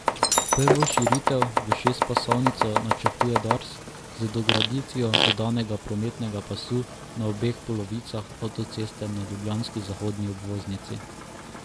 Prvo širitev v šestpasovnico načrtuje Dars z dograditvijo dodatnega prometnega pasu na obeh polovicah avtoceste na ljubljanski zahodni obvoznici.